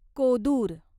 Kodur